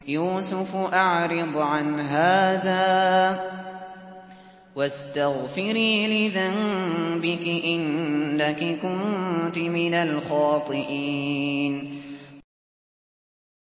يُوسُفُ أَعْرِضْ عَنْ هَٰذَا ۚ وَاسْتَغْفِرِي لِذَنبِكِ ۖ إِنَّكِ كُنتِ مِنَ الْخَاطِئِينَ